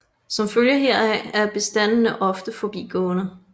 Som følge heraf er bestandene ofte forbigående